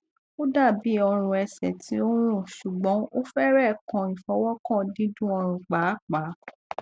o dabi oorùn ẹsẹ ti o nrun ṣugbọn o fẹrẹ kan ifọwọkan dundunoorùn paapaa